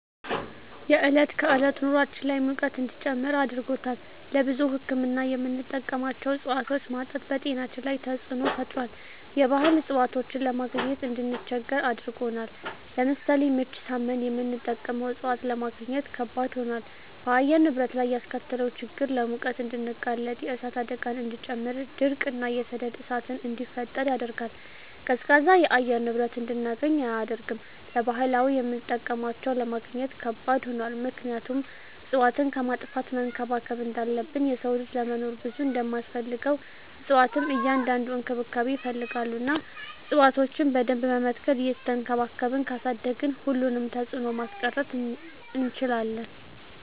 የዕለት ከዕለት ኑራችን ላይ ሙቀት እንዲጨምር አድርጎታል። ለብዙ ህክምና የምንጠቀማቸው እፅዋቶች ማጣት በጤናችን ላይ ተፅዕኖ ፈጥሯል የባህል እፅዋቶችን ለማግኘት እንድንቸገር አድርጎናል። ለምሳሌ ምች ሳመን የምንጠቀመው እፅዋት ለማግኘት ከበድ ሆኗል። በአየር ንብረት ላይ ያስከተለው ችግር ለሙቀት እንድንጋለጥ የእሳት አደጋን እንዲጨምር ድርቅ እና የሰደድ እሳትን እንዲፈጠር ያደርጋል። ቀዝቃዛ የአየር ንብረት እንድናገኝ አያደርግም። ለባህላዊ የምጠቀምባቸው ለማግኘት ከባድ ሆኗል ምክንያቱም እፅዋትን ከማጥፋት መንከባከብ እንዳለብን የሰው ልጅ ለመኖር ብዙ እንደማስፈልገው እፅዋትም እንዲያድጉ እንክብካቤ ይፈልጋሉ እና እፅዋቶችን በደንብ በመትከል እየቸንከባከብን ካሳደግን ሁሉንም ተፅዕኖ ማስቀረት እንችላለን።